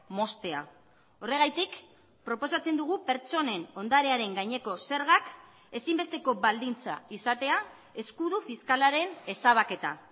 moztea horregatik proposatzen dugu pertsonen ondarearen gaineko zergak ezinbesteko baldintza izatea eskudu fiskalaren ezabaketa